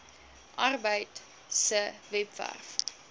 arbeid se webwerf